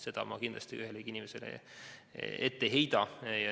Seda ma kindlasti ühelegi inimesele ette ei heida.